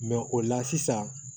o la sisan